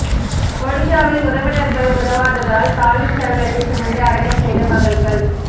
ஒடிஷாவில் உறவினர்கள் உதவாததால் தாயின் சடலத்தை சுமந்து அடக்கம் செய்த மகள்கள்